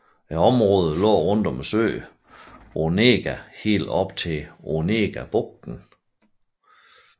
Området lå rundt om søen Onega helt op til Onegabugten